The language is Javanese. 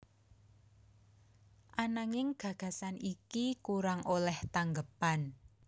Ananging gagasan iki kurang olèh tanggepan